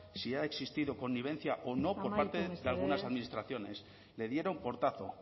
si ha existido connivencia o no por parte amaitu mesedez de algunas administraciones le dieron portazo